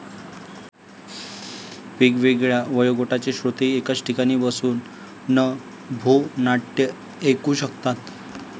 वेगवेगळ्या वयोगटाचे श्रोतेही एकाच ठिकाणी बसून नभोनाट्य ऐकू शकतात.